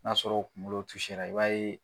N'a sɔrɔ a kunkolo i b'a ye.